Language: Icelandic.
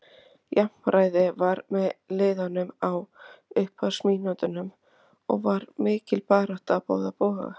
Jafnræði var með liðunum á upphafsmínútunum og var mikil barátta á báða bóga.